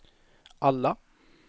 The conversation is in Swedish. alla